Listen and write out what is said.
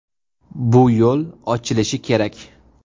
Bu yo‘l ochilishi kerak.